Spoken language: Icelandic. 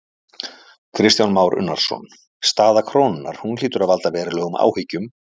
Kristján Már Unnarsson: Staða krónunnar, hún hlýtur að valda verulegum áhyggjum?